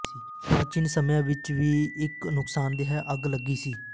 ਪ੍ਰਾਚੀਨ ਸਮਿਆਂ ਵਿਚ ਵੀ ਇੱਕ ਨੁਕਸਾਨਦੇਹ ਅੱਗ ਲੱਗੀ ਸੀ